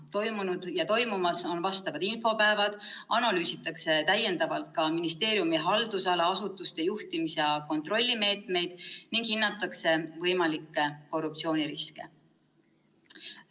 Toimunud ja toimumas on ministeeriumi infopäevad, kus analüüsitakse ministeeriumi haldusala asutuste juhtimis- ja kontrollimeetmeid ning hinnatakse võimalikke korruptsiooniriske.